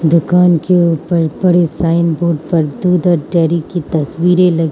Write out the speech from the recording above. दुकान के ऊपर पड़े साइन बोर्ड पर दूध और डेयरी की तस्वीरे लगी--